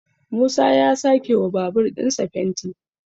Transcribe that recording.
musa ya a sake wa babur ɗinsa fenti